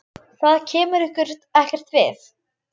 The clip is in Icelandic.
Það kemur ykkur ekkert við.